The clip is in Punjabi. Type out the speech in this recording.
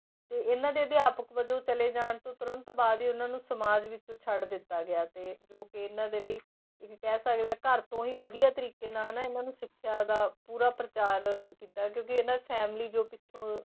ਤੇ ਇਹਨਾਂ ਦੇ ਅਧਿਆਪਕ ਵਜੋਂ ਚਲੇ ਜਾਣ ਤੋਂ ਤੁਰੰਤ ਬਾਅਦ ਹੀ ਇਹਨਾਂ ਨੂੰ ਸਮਾਜ ਵਿੱਚੋਂ ਛੱਡ ਦਿੱਤਾ ਗਿਆ ਤੇ ਜੋ ਕਿ ਇਹਨਾਂ ਦੇ ਲਈ ਇੱਕ ਕਹਿ ਸਕਦੇ ਹਾਂ ਘਰ ਤੋਂ ਹੀ ਵਧੀਆ ਤਰੀਕੇ ਨਾਲ ਹਨਾ ਇਹਨਾਂ ਨੂੰ ਸਿੱਖਿਆ ਦਾ ਪੂਰਾ ਪ੍ਰਚਾਰ ਕੀਤਾ ਕਿਉਂਕਿ ਇਹਨਾਂ family ਜੋ ਪਿੱਛੋਂ